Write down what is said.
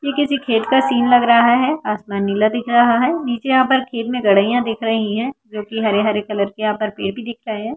ये किसी खेत का सीन लग रहा है आसमान नीला दिख रहा है नीचे यहां पर खेत मे गड़ेइया दिख रही है जो की हरे-हरे कलर के यहां पर पेड़ दिख रहा है।